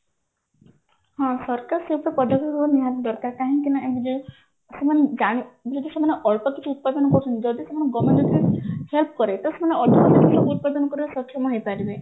ହଁ ସରକାର ସେତ ପଦକ୍ଷେପ ନିହାତି ଦରକାର କାହିଁକି ନା ସେମାନେ ଯଦି ସେମାନେ ଅଳ୍ପ କିଛି ଉତ୍ପାଦନ କରୁଛନ୍ତି ଯଦି ସେମାନେ help କରେ ତ ସେମାନେ ଉତ୍ପାଦନ କରିବାରେ ସକ୍ଷମ ହେଇପାରିବେ